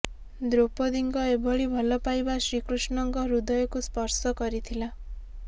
ଦ୍ରୌପଦୀଙ୍କ ଏଭଳି ଭଲ ପାଇବା ଶ୍ରୀକୃଷ୍ଣଙ୍କ ହୃଦୟକୁ ସ୍ପର୍ଶ କରିଥିଲା